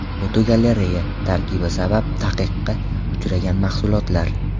Fotogalereya: Tarkibi sabab taqiqqa uchragan mahsulotlar.